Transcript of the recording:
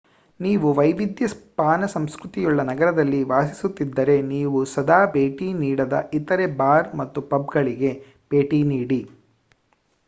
ನೀವು ವೈವಿಧ್ಯ ಪಾನ ಸಂಸ್ಕ್ರತಿಯುಳ್ಳ ನಗರದಲ್ಲಿ ವಾಸಿಸುತಿದ್ದರೆ ನೀವು ಸದಾ ಭೇಟಿ ನೀಡದ ಇತರೇ ಬಾರ್ ಮತ್ತು ಪಬ್‌ಗಳಿಗೆ ಭೇಟಿ ನೀಡಿ